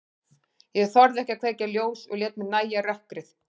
Ég þorði ekki að kveikja ljós og lét mér nægja rökkrið.